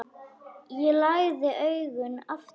Ég lagði augun aftur.